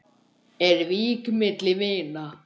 Er vík milli vina?